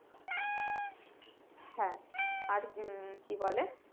হ্যাঁ আর উম কি বলে